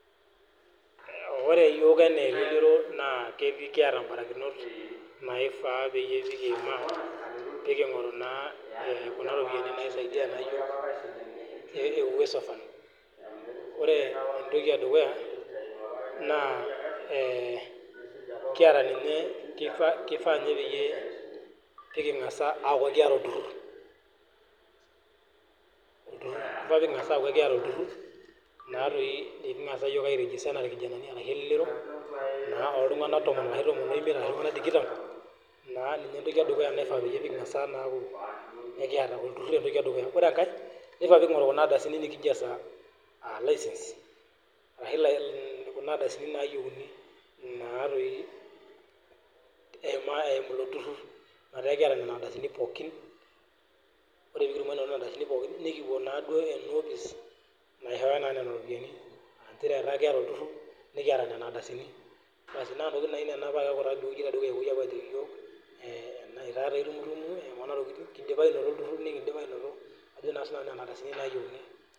Ore yook anaa elelero naa ekieta barakinot naifaa peyie ipik peeking'oru naa kuna ropiyiani naisaidia e Uwezo fund. Ore entoki edukuya naa kieta ninye, keifaa ninye peyie pikingas aaku kieta olturrur, peekingas aaku kieta olturrur naa doi likingass yook airenye anaa sii duo elelero naa oltungana tomon oimiet ana duo ninye tikitam, naa ninye ntoki edukuya nikifaa duo naa pikiet olturrur entoki edukuya. Ore enkae neifaa peeking'oru kuna ardasini nikijo esaa aalisens ashu kuna ardasini naayeuni naa doi eimu ilo rurrur, metaa kieta lelo nkardasini pookin. Ore piikitumo nena ardasini pookin nikipuo naaaduo ena opis naishooyo naa nena iropiyiani, egira aaku ilo turrur nikieta nena ardasini baas naa ntokitin naa nena naaku ore edukuya nejoki yook etaa doi itumtum, kiindipa anoto ilturrur nikindipa anoto ajo naa sii nanu nkardasini nayeuni.